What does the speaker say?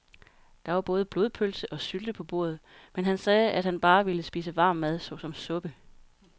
Der var både blodpølse og sylte på bordet, men han sagde, at han bare ville spise varm mad såsom suppe.